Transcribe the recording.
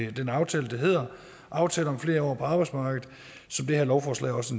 den aftale som hedder aftale om flere år på arbejdsmarkedet og som det her lovforslag også